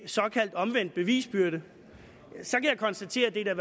såkaldt omvendt bevisbyrde kan jeg konstatere at det da